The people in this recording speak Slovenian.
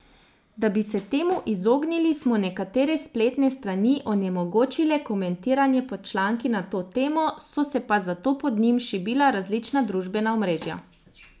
Da bi se temu izognili, smo nekatere spletne strani onemogočile komentiranje pod članki na to temo, so se pa zato pod njim šibila različna družbena omrežja.